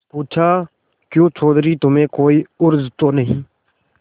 पूछाक्यों चौधरी तुम्हें कोई उज्र तो नहीं